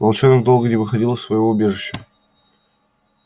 волчонок долго не выходил из своего убежища